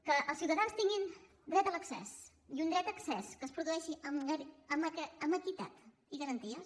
que els ciutadans tinguin dret a l’accés i un dret d’accés que es produeixi amb equitat i garanties